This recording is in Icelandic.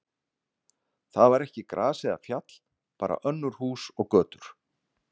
Þar var ekki gras eða fjall, bara önnur hús og götur.